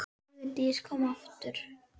Vigdís kom aftur.